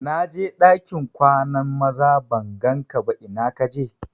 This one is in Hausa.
Na je ɗakin kwanan maza ban gan ka ba ina ka je?